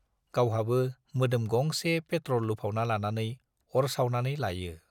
गावहाबो मोदोम गंसे पेट्रल लुफावना लानानै अर सावनानै लायो।